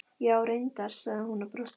Já, reyndar, sagði hún og brosti aftur.